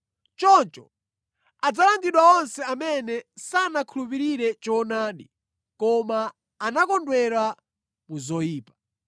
Choncho adzalangidwa onse amene sanakhulupirire choonadi, koma anakondwera mu zoyipa.